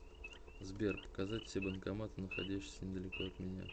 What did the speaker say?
сбер показать все банкоматы находящиеся недалеко от меня